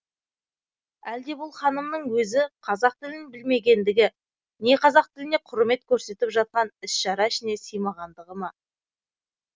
әлде бұл ханымның өзі қазақ тілін білмегендігі не қазақ тіліне құрмет көрсетіп жатқан іс шара ішіне сыймағандығы ма